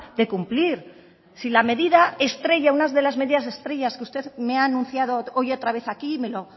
de cumplir si la medida estrella una de las medidas estrellas que usted me ha anunciado hoy otra vez aquí me lo